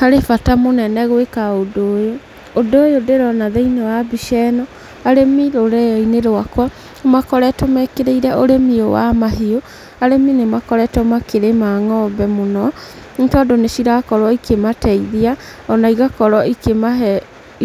Harĩ bata mũnene gwĩka ũndũ ũyũ. Ũndũ ũyũ ndĩrona thĩiniĩ wa mbica ĩno, arĩmi rũrĩrĩ-inĩ rwakwa, nĩ makoretwo mekĩrĩire ũrĩmi ũyũ wa mahiũ. Arĩmi nĩ makoretwo makĩrĩma ng'ombe mũno, nĩ tondũ nĩ cirakorwo ikĩmateithia, ona igakorwo ikĩmahe